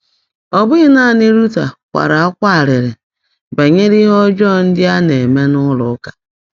Ọ bụghị naanị Luther kwara akwa arịrị banyere ihe ọjọọ ndị a na-eme n'ụlọụka.